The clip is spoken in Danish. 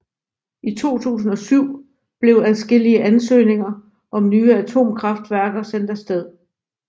I 2007 blev adskillige ansøgninger om nye atomkraftværker sendt afsted